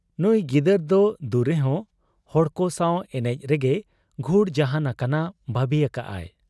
ᱱᱩᱸᱭ ᱜᱤᱫᱟᱹᱨ ᱫᱚ ᱫᱩᱨᱮᱦᱚᱸ ᱦᱚᱲᱠᱚ ᱥᱟᱶ ᱮᱱᱮᱡ ᱨᱮᱜᱮᱭ ᱜᱷᱩᱲ ᱡᱟᱦᱟᱸᱱ ᱟᱠᱟᱱᱟ ᱵᱷᱟᱹᱵᱤ ᱟᱠᱟᱜ ᱟᱭ ᱾